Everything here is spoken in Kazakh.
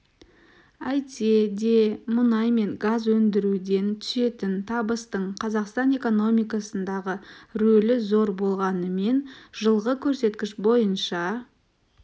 әйтсе де мұнай мен газ өндіруден түсетін табыстың қазақстан экономикасындағы рөлі зор болғанымен жылғы көрсеткіш бойынша